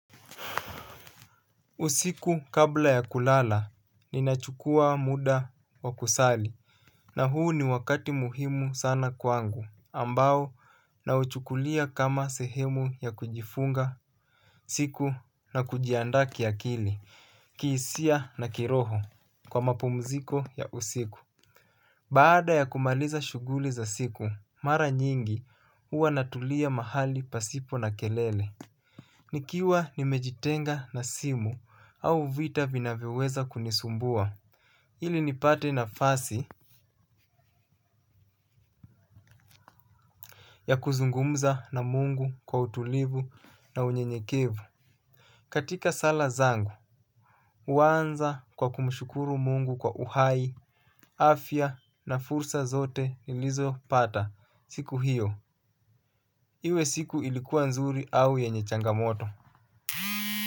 Usiku kabla ya kulala ninachukua muda wa kusali na huu ni wakati muhimu sana kwangu ambao nauchukulia kama sehemu ya kujifunga siku na kujianda kiakili kihisia na kiroho kwa mapumziko ya usiku baada ya kumaliza shughuli za siku, mara nyingi hua natulia mahali pasipo na kelele. Nikiwa nimejitenga na simu au vita vinavyoweza kunisumbua ili nipate nafasi ya kuzungumza na mungu kwa utulivu na unyenyekevu. Katika sala zangu, huanza kwa kumshukuru mungu kwa uhai, afya na fursa zote niliz pata siku hiyo. Iwe siku ilikuwa nzuri au yenye changamoto.